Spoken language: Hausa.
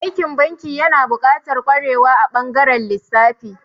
Aikin banki yana buƙatar ƙwarewa a ɓangaren lissafi.